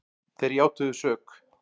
Þeir játuðu sök